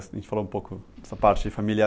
A gente falou um pouco essa parte familiar.